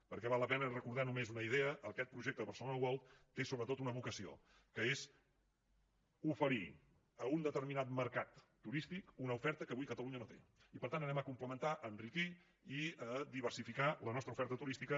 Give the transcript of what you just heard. perquè val la pena recordar només una idea aquest projecte de barcelona world té sobretot una vocació que és oferir a un determinat mercat turístic una oferta que avui catalunya no té i per tant anem a complementar enriquir i diversificar la nostra oferta turística